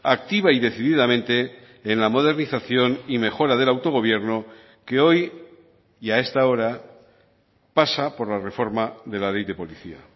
activa y decididamente en la modernización y mejora del autogobierno que hoy y a esta hora pasa por la reforma de la ley de policía